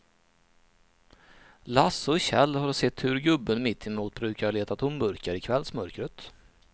Lasse och Kjell har sett hur gubben mittemot brukar leta tomburkar i kvällsmörkret.